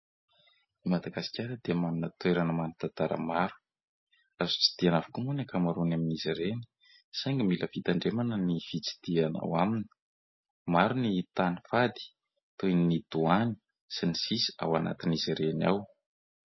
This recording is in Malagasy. Madagasikara dia manana toerana manan-tantara maro. Azo tsidihana avokoa moa ny ankamaroany amin'izy ireny, saingy mila fitandremana ny fitsidihana ao aminy. Maro ny tany fady, toy ny doany sy ny sisa, ao anatin'izy ireny ao.